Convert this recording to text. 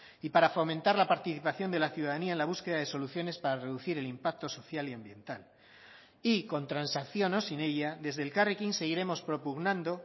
y para fomentar la participación de la ciudadanía en la búsqueda de soluciones para reducir el impacto social y ambiental y con transacción o sin ella desde elkarrekin seguiremos propugnando